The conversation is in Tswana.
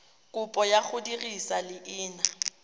kopo ya go dirisa leina